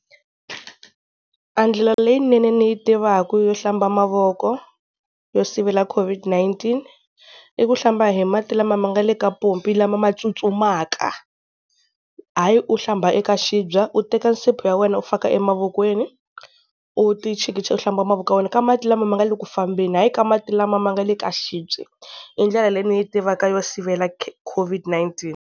A ndlela leyinene ni yi tivaku yo hlamba mavoko yo sivela COVID-19, i ku hlamba hi mati lama ma nga le ka pompi lama ma tsutsumaka. Hayi u hlamba eka xibye u teka nsipho ya wena u faka emavokweni u ti chikicha u hlamba mavoko ya wena ka mati lama ma nga le ku fambeni, hayi ka mati lama ma nga le ka xibye i ndlela leyi ni yi tivaka yo sivela COVID-19.